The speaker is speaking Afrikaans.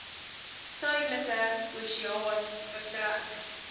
suidelike oseaan vertrek